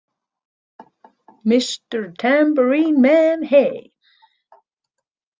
Mister Tambourine Man Hey!